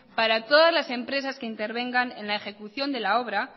para todas las empresas que intervengan en la ejecución de la obra